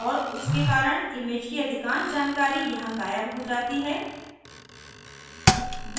और उसके कारण image की अधिकांश जानकारी यहाँ गायब हो जाती है